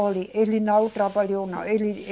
Olhe, ele não trabalhou não. Ele